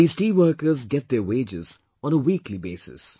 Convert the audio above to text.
These tea workers get their wages on weekly basis